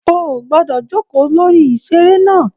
O o gbọdọ jókòó lórí iṣere náà!